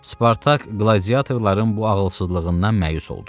Spartak qladiatorların bu ağılsızlığından məyus oldu.